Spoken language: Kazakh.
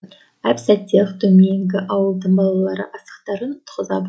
әп сәтте ақ төменгі ауылдың балалары асықтарын ұтқыза